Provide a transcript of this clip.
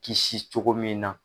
Kisi cogo min na.